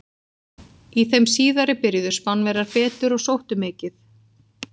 Í þeim síðari byrjuðu Spánverjar betur og sóttu mikið.